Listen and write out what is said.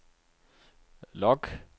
log